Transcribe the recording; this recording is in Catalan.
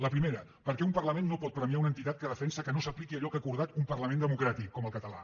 la primera perquè un parlament no pot premiar una entitat que defensa que no s’apliqui allò que ha acordat un parlament democràtic com el català